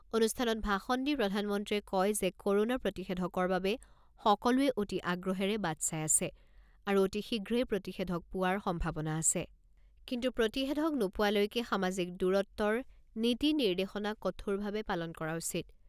অনুষ্ঠানত ভাষণ দি প্ৰধানমন্ত্ৰীয়ে কয় যে কৰোনা প্ৰতিষেধকৰ বাবে সকলোৱে অতি আগ্ৰহেৰে বাট চাই আছে আৰু অতি শীঘ্ৰেই প্ৰতিষেধক পোৱাৰ সম্ভাৱনা আছে, কিন্তু প্ৰতিষেধক নোপোৱালৈকে সামাজিক দূৰত্বৰ নীতি নিৰ্দেশনা কঠোৰভাবে পালন কৰা উচিত।